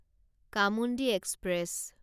Chamundi express